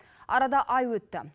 арада ай өтті